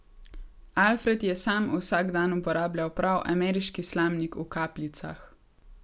Alfred je sam vsak dan uporabljal prav ameriški slamnik v kapljicah.